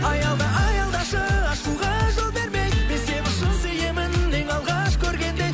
аялда аялдашы ашуға жол бермей мен сені шын сүйемін ең алғаш көргендей